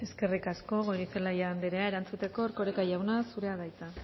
eskerrik asko goirizelaia andrea erantzuteko erkoreka jauna zurea da hitza